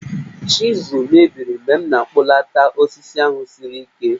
Chizụl mebiri mgbe m na-akpụlata osisi ahụ siri ike